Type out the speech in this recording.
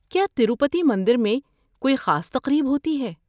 کیا تروپتی مندر میں کوئی خاص تقریب ہوتی ہے؟